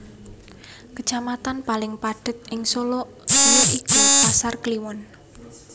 Kacamatan paling padhet ing Solo aya iku Pasar Kliwon